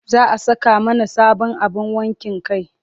Za a saka mana sabon abin wankin kai.